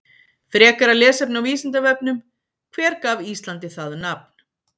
Frekara lesefni á Vísindavefnum: Hver gaf Íslandi það nafn?